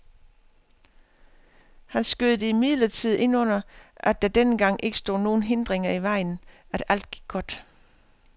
Han skød det imidlertid ind under, at der denne gang ikke stod nogen hindringer i vejen, at alt gik godt.